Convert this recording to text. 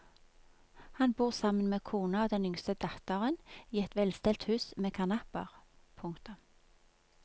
Han bor sammen med kona og den yngste datteren i et velstelt hus med karnapper. punktum